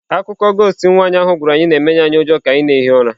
Akụkọ ghost im nwaanyị ahụ gwara anyị na-emenye anyị ụjọ ka anyị na-ehi ụra.